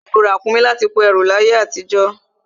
Wọ́n má ń lo ràkúnmí láti kó ẹrù láyé àtijọ́